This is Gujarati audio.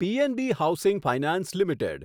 PNB housing finance limited